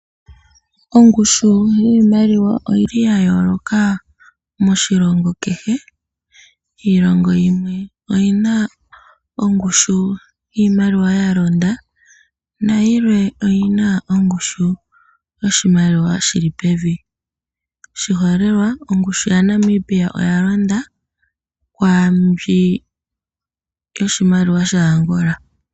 Ongushu yiimaliwa oyili yayoloka moshilongo kehe. Iilongo yimwe oyina ongushu yiimaliwa ya londa. Nayilwe oyina ongushu yoshimaliwa yili pevi. Oshiholelwa ongushu yiimaliwa yaNamibia oya londa kwaambi yiimaliwa yaAngola.